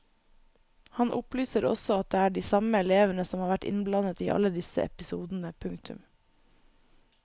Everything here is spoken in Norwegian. Han opplyser også at det er de samme elevene som har vært innblandet i alle disse episodene. punktum